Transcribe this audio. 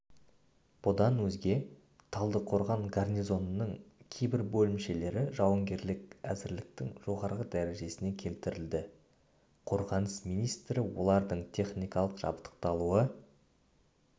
бұдан өзге талдықорған гарнизонының кейбір бөлімшелері жауынгерлік әзірліктің жоғары дәрежесіне келтірілді қорғаныс министрі олардың техникалық жабдықталуы